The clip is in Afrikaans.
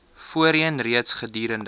voorheen reeds gedurende